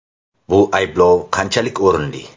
Bu ayblov qanchalik o‘rinli?